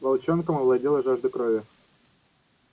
волчонком овладела жажда крови